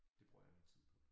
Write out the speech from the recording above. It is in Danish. Det bruger jeg min tid på